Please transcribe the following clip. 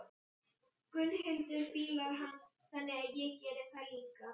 Gunnhildur fílar hann, þannig að ég geri það líka.